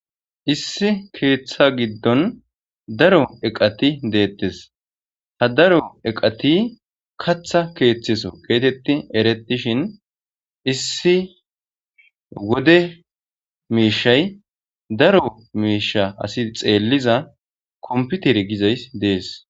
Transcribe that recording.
issi keeththa giddon daro eqati deettes ha daro eqati katha keeththeso keetetti erettishin issi wode miishay daro miisha asi xeelliza komputer gizay dees